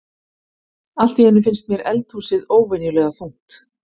Allt í einu finnst mér eldhúsið óvenjulega þungt.